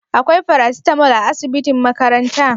Akwai farasitamol a asibitin makaranta?